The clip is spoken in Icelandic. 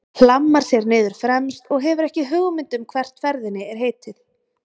Hlammar sér niður fremst og hefur ekki hugmynd um hvert ferðinni er heitið.